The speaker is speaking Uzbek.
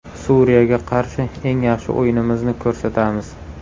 Suriyaga qarshi eng yaxshi o‘yinimizni ko‘rsatamiz.